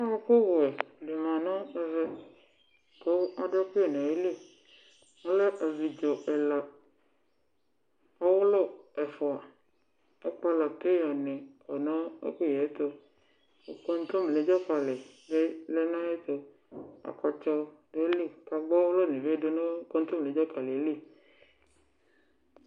Ɔɔkʋ wɛ di ma nʋ ɛvɛ kʋ adʋ ɛkʋyɛ nʋ ayili Ɔlɛ abidzo ɛla, ɔwʋlʋ ɛfua Akpala peya ni kɔ nʋ ɛkʋyɛ yɛ ɛtʋ Kontomire dzakali bi lɛ nʋ ayɛtʋ Akpatsɔ dʋ ayili, kʋ agbɔ ɔwʋlʋ bi dʋ nʋ kontomire dzakali yɛ li